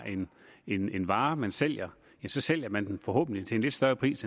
en vare man sælger så sælger man den forhåbentlig til en lidt større pris